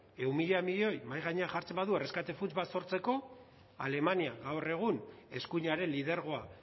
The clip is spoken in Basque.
ehun mila milioi mahai jartzen badu erreskate funts bat sortzeko alemania gaur egun eskuinaren lidergoa